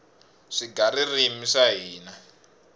swigaririmi swa hina